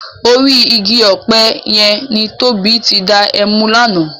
Órì igi òpè yèn ni Tobi ti dá èmú làná